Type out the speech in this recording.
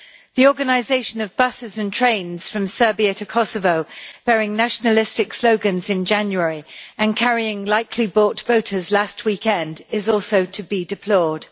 The organisation of buses and trains from Serbia to Kosovo bearing nationalistic slogans in January and carrying likely bought voters last weekend, is also to be deplored.